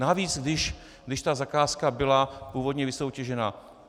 Navíc když ta zakázka byla původně vysoutěžena.